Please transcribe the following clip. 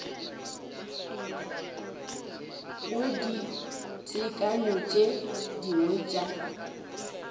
go ditekanyo tše dingwe tša